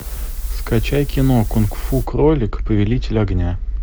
скачай кино кунг фу кролик повелитель огня